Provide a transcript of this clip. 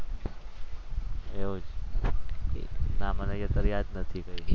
ના મને અત્યારે યાદ નથી કઈ